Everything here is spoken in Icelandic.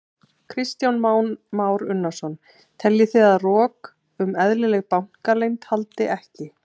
Kristján Már Unnarsson: Teljið þið að rok um eðlilega bankaleynd haldi ekki?